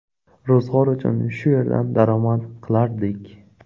Ro‘zg‘or uchun shu yerdan daromad qilardik.